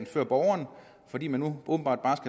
før borgeren fordi man åbenbart